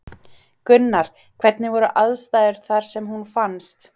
Gunnar: Hvernig voru aðstæður þar sem hún fannst?